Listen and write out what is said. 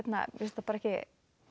mér finnst það bara ekki